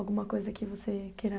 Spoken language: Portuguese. Alguma coisa que você queira...